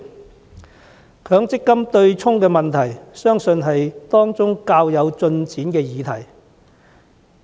取消強積金對沖機制相信是當中較有進展的議題。